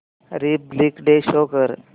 Republic day show कर